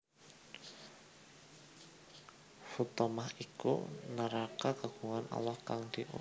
Huthomah iku neraka kagungane Allah kang diurubake